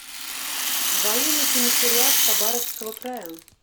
военный комиссариат хабаровского края